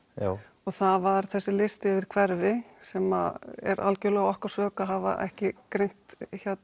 og það var þessi listi yfir hverfi sem er algjörlega okkar sök að hafa ekki greint